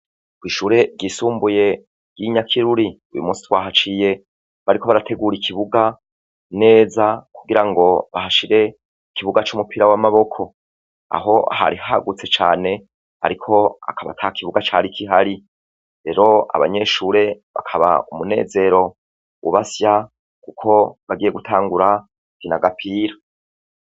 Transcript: Kw'ishure ryisumbuye ry'inyakiruri uyumusi twahaciye bariko barategura ikibuga, kugirango bahashire ikibuga c'umupira w'amaboko, aho hari hagutse cane ariko akaba atakibuga cari kihari ,rero abanyeshure bakaba umunezero ubasya kuko bagiye gutangura gukina agapira.